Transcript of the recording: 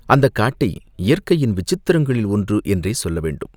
அந்தக் காட்டை இயற்கையின் விசித்திரங்களில் ஒன்று என்றே சொல்ல வேண்டும்.